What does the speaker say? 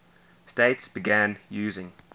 states began using